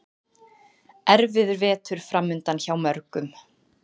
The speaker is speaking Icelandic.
Erfiður vetur framundan hjá mörgum